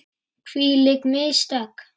Hvílík mistök!